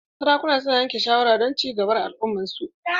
Sarakuna su na yanke shawara don ci gaba na al'umman su.